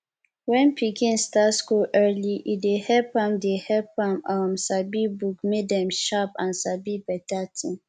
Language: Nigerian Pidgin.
when pikin start school early e dey help am dey help am um sabi book make dem sharp and sabi beta tin